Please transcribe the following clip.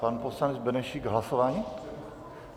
Pan poslanec Benešík - hlasování?